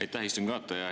Aitäh, istungi juhataja!